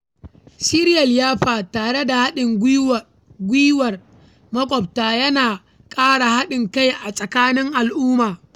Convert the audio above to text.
Shirya liyafa tare da haɗin gwiwar maƙwabta ya na ƙara haɗin kai a tsakanin al’umma.